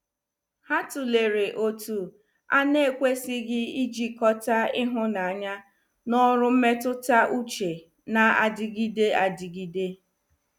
Ha tụlere otú a na-ekwesịghị ijikọta ịhụnanya na ọrụ mmetụta uche na-adịgide adịgide.